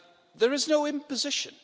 There is no imposition.